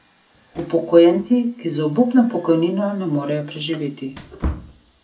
Upokojenci, ki z obupno pokojnino ne morejo preživeti.